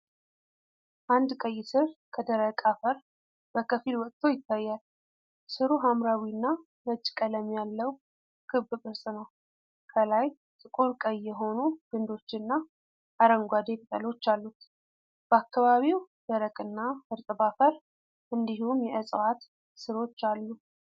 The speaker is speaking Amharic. አንድ ቀይ ሥር ከደረቅ አፈር በከፊል ወጥቶ ይታያል። ሥሩ ሐምራዊና ነጭ ቀለም ያለው ክብ ቅርጽ ነው፣ ከላይ ጥቁር ቀይ የሆኑ ግንዶችና አረንጓዴ ቅጠሎች አሉት። በአካባቢው ደረቅና እርጥብ አፈር እንዲሁም የዕፅዋት ሥሮች አሉ።